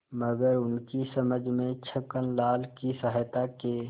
मगर उनकी समझ में छक्कनलाल की सहायता के